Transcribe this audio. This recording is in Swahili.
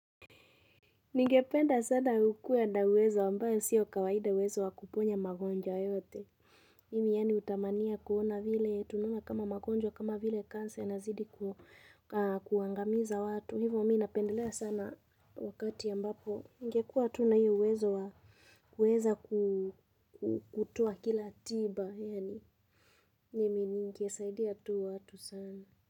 Ningependa sana kuwa na uwezo ambayo sio kawaida uwezo wa kuponya magonjwa yote. Mimi yani hutamania kuona vile tunaona kama magonjwa kama vile kansea inazidi kuangamiza watu. Hivo mi napendelea sana wakati ambapo. Ningekuwa tu hiyo uwezo wa kuweza kutoa kila tiba. Mimi ningesaidia tu watu sana.